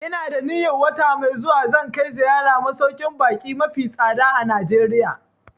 Ina da niyan wata mai zuwa zan kai ziyara masauƙin baƙi mafi tsada a Najeriya